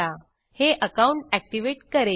हे अकाउंट activateकरेल